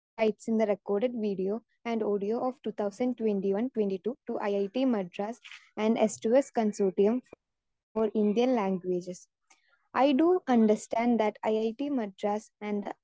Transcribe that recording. speaker 2 rights in the record video and audio of two thousand twenty one twenty two to IIT Madras yes to yes consortium for Indian languages I do understand that IIT Madras and